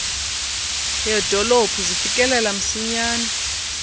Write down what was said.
yedolophu zifikelela msinyane